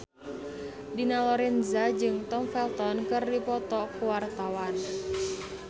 Dina Lorenza jeung Tom Felton keur dipoto ku wartawan